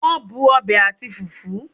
Won bu obe ati fufu